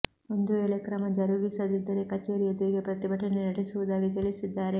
ಒಂದು ವೇಳೆ ಕ್ರಮ ಜರುಗಿಸದಿದ್ದರೆ ಕಚೇರಿ ಎದುರಿಗೆ ಪ್ರತಿಭಟನೆ ನಡೆಸುವುದಾಗಿ ತಿಳಿಸಿದ್ದಾರೆ